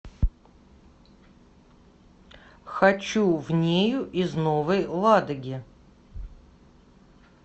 хочу в нею из новой ладоги